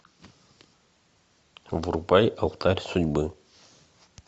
врубай алтарь судьбы